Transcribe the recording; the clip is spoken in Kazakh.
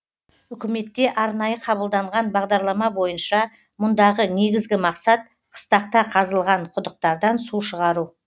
үкіметте арнайы қабылданған бағдарлама бойынша мұндағы негізгі мақсат қыстақта қазылған құдықтардан су шығару